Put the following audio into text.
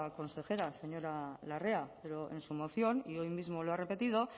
consejera señora larrea pero en su moción y hoy mismo lo ha repetido